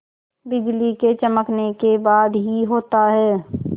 बिजली के चमकने के बाद ही होता है